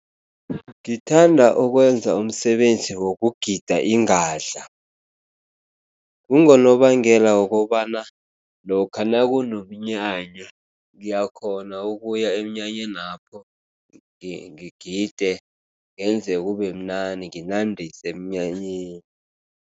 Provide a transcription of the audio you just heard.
Ngithanda ukwenza umsebenzi wokugida ingadla. Kungonobangela wokobana lokha nakunomnyanya, ngiyakghona ukuya emnyanyenapho ngigide, ngenze kubemnandi, nginandise emnyanyeni.